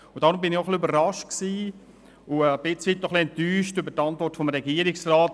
Deshalb war ich auch ein bisschen überrascht und ein Stück weit enttäuscht über die Antwort des Regierungsrats.